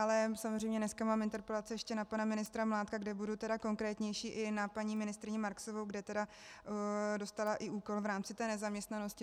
Ale samozřejmě dneska mám interpelaci ještě na pana ministra Mládka, kde budu tedy konkrétnější, i na paní ministryni Marksovou, kde tedy dostala i úkol v rámci té nezaměstnanosti.